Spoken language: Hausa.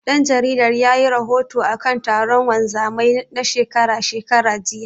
Ɗan jaridar yayi rahoto akan taron wanzamai na shekara shekara, jiya.